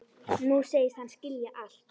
Nú segist hann skilja allt.